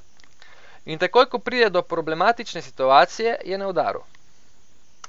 In takoj ko pride do problematične situacije, je na udaru.